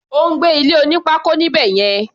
Ó ń gbé ilé oní pákó níbẹ̀ yẹn.